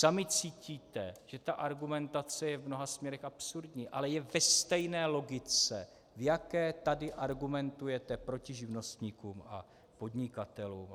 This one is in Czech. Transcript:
Sami cítíte, že ta argumentace je v mnoha směrech absurdní, ale je ve stejné logice, v jaké tady argumentujete proti živnostníkům a podnikatelům.